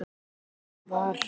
Þess vegna var